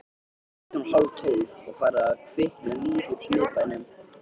Klukkan var hálftólf og farið að kvikna líf í miðbænum.